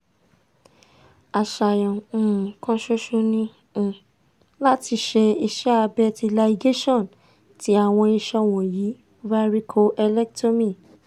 aṣayan um kan ṣoṣo ni um lati ṣe iṣẹ abẹ ti ligation ti awọn iṣan wọnyi varicocelectomy